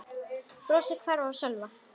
Brosið hvarf af Sölva.